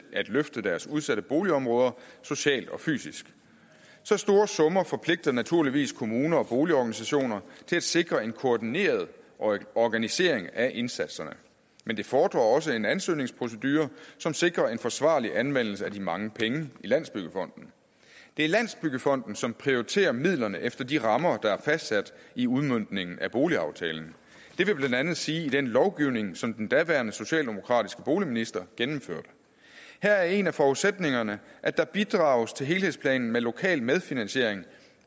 at løfte deres udsatte boligområder socialt og fysisk så store summer forpligter naturligvis kommuner og boligorganisationer til at sikre en koordineret organisering af indsatserne men det fordrer også en ansøgningsprocedure som sikrer en forsvarlig anvendelse af de mange penge i landsbyggefonden det er landsbyggefonden som prioriterer midlerne efter de rammer der er fastsat i udmøntningen af boligaftalen det vil blandt andet sige i den lovgivning som den daværende socialdemokratiske boligminister gennemførte her er en af forudsætningerne at der bidrages til helhedsplanen med lokal medfinansiering